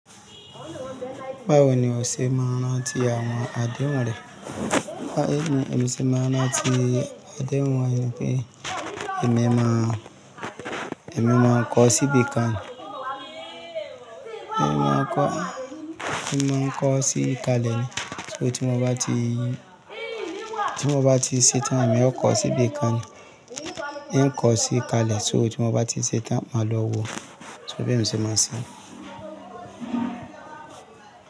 Báwo ni o ṣe máa ń rántí àwọn àdéhùn rẹ? Bí ni èmi ṣe máa rántí àdéhùn rẹ pé èmi máa, èmi máa ń kọọ́ síbí kan ni Èmi máa ń kọ́, èmi máa kọọ́ sí kalẹ̀ ni. So tí mo bá ti, tí mo bá ti ṣetán, èmi ó kọ́ síbí kan ni. Ìń kọọ́ sí kalẹ̀ so tí mo bá ti ṣetán, màá lọ wòó. So bí èmi ṣe máa ń ṣe.